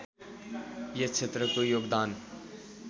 यस क्षेत्रको योगदान